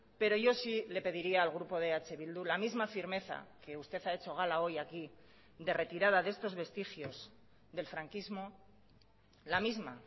pero yo sí le pediría al grupo de eh bildu la misma firmeza que usted ha hecho gala hoy aquí de retirada de estos vestigios del franquismo la misma